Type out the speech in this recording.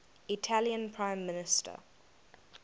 italian prime minister